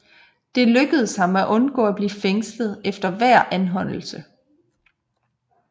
Det lykkedes ham at undgå at blive fængslet efter hver anholdelse